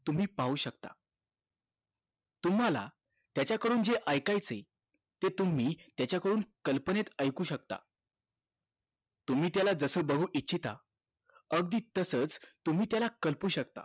तुम्ही पाहू शकता तुम्हाला त्याच्या कडून जे ऐकायचं आहे ते तुम्ही त्याच्या कडून कल्पनेत ऐकू शकता तुम्ही त्याला जस बघू इच्छिता अगदी तसंच तुम्ही त्याला करू शकता